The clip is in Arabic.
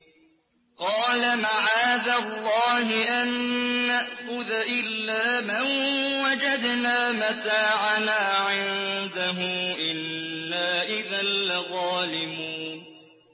قَالَ مَعَاذَ اللَّهِ أَن نَّأْخُذَ إِلَّا مَن وَجَدْنَا مَتَاعَنَا عِندَهُ إِنَّا إِذًا لَّظَالِمُونَ